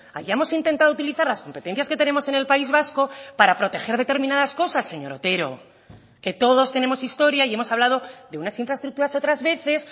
hayamos intentado utilizar las competencias que tenemos en el país vasco para proteger determinadas cosas señor otero que todos tenemos historia y hemos hablado de unas infraestructuras otras veces